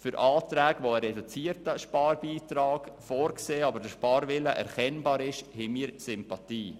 Auch für Anträge, die einen reduzierten Sparbeitrag vorsehen und der Sparwille erkennbar ist, haben wir Sympathie.